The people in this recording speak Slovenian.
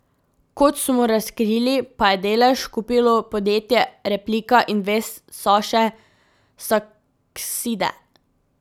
Kot smo razkrili, pa je delež kupilo podjetje Replika Invest Saše Sakside.